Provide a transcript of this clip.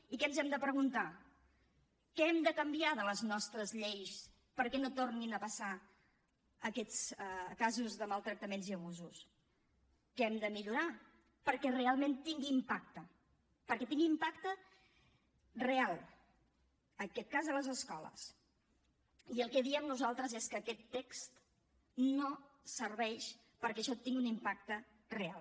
i què ens hem de preguntar què hem de canviar de les nostres lleis perquè no tornin a passar aquests casos de maltractaments i abusos què hem de millorar perquè realment tingui impacte perquè tingui impacte real en aquest cas a les escoles i el que diem nosaltres és que aquest text no serveix perquè això tingui un impacte real